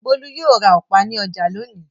Bólú yóò ra ọ̀pá ní ọjà lónìí.